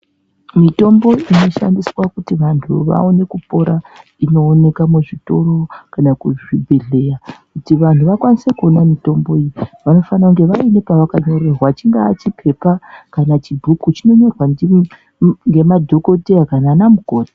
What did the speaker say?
Mitombo inoshandiswa kuti vantu vaone kupora ino oneka mu zvitoro kana ku zvibhedhlera kuti vakwanise kuona mutombo iyi vanofana kunge vaine pavaka rerwa chingaa chipepa kana chibhuku chino nyorwa nge madhokoteya kana ana mukoti.